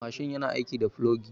Mashin yana aiki da plogi.